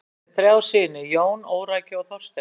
Hann átt einnig þrjá syni: Jón, Órækju og Þorstein.